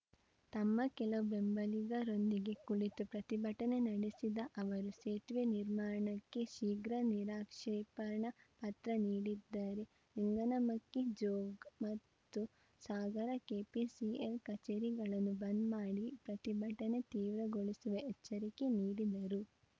ತಮ್ಮ ಕೆಲವು ಬೆಂಬಲಿಗರೊಂದಿಗೆ ಕುಳಿತು ಪ್ರತಿಭಟನೆ ನಡೆಸಿದ ಅವರು ಸೇತುವೆ ನಿರ್ಮಾಣಕ್ಕೆ ಶೀಘ್ರ ನಿರಾಕ್ಷೇಪಣಾ ಪತ್ರ ನೀಡದಿದ್ದರು ಲಿಂಗನಮಕ್ಕಿ ಜೋಗ್‌ ಮತ್ತು ಸಾಗರ ಕೆಪಿಸಿಎಲ್‌ ಕಚೇರಿಗಳನ್ನು ಬಂದ್‌ ಮಾಡಿ ಪ್ರತಿಭಟನೆ ತೀವ್ರಗೊಳಿಸುವೆ ಎಚ್ಚರಿಕೆ ನೀಡಿದರು